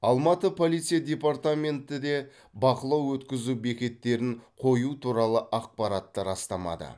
алматы полиция департаменті де бақылау өткізу бекеттерін қою туралы ақпаратты растамады